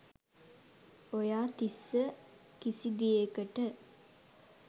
ඔයා තිස්ස කිසිදේකට